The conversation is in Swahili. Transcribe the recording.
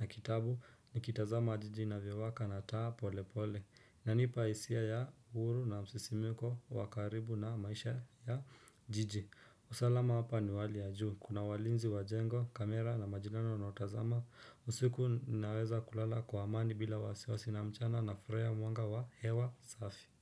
na kitabu nikitazama jiji inavyowaka na taa pole pole. Inanipa hisia ya huru na msisimko wa karibu na maisha ya jiji usalama hapa ni wa hali ya juu. Kuna walinzi wa jengo, kamera na majirani wanaotazama usiku ninaweza kulala kwa amani bila wasiwasi na mchana nafurahia mwanga wa hewa safi.